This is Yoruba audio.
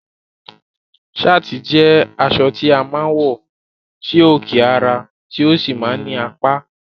Sáàtì jẹ́ aṣọ tí a máa ń wọ sí òkè ara, tó sì máa ń ní apá